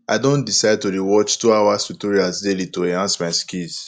i don decide to dey watch 2 hours tutorials daily to enhance my skills